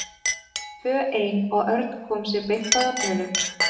Við urðum tvö ein og Örn kom sér beint að efninu.